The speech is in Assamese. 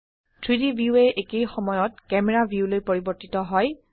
3ডি ভিউএ একেই সময়ত ক্যামেৰা ভিউলৈ পৰিবৰ্তিত হয়